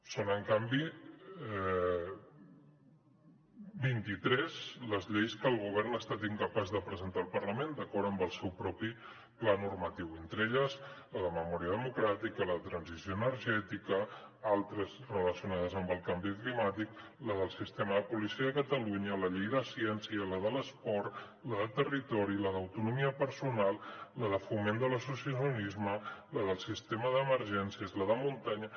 són en canvi vint i tres les lleis que el govern ha estat incapaç de presentar al parlament d’acord amb el seu propi pla normatiu entre elles la de memòria democràtica la de transició energètica altres relacionades amb el canvi climàtic la del sistema de policia de catalunya la llei de ciència la de l’esport la de territori la d’autonomia personal la de foment de l’associacionisme la del sistema d’emergències la de muntanya